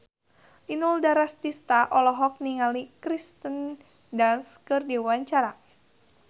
Inul Daratista olohok ningali Kirsten Dunst keur diwawancara